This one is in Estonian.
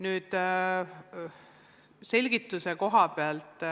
Nüüd selgituse kohapealt.